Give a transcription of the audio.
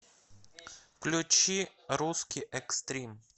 включи русский экстрим